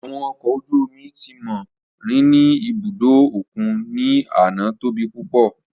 Awọn ọkọ̀ ojú omi ti mo ri ni ibudo okun ni ana tobi pupọ.